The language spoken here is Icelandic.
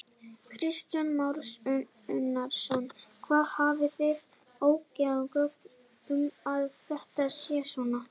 Kristján Már Unnarsson: Hafið þið óyggjandi gögn um að þetta sé svona?